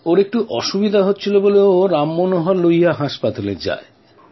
ওর একটু অসুবিধা হচ্ছিল বলে ও রাম মনোহর লোহিয়া হাসপাতাল যায়